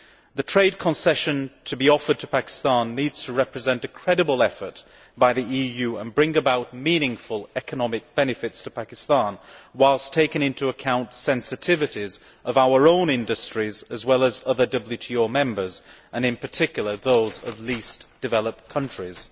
The trade concession to be offered to Pakistan needs to represent a credible effort by the EU and bring about meaningful economic benefits to Pakistan, whilst taking into account sensitivities of our own industries as well as other WTO members in particular, those of least developed countries.